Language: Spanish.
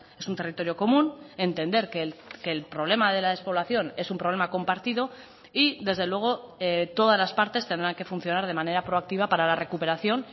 es un territorio común entender que el problema de la despoblación es un problema compartido y desde luego todas las partes tendrán que funcionar de manera proactiva para la recuperación